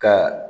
Ka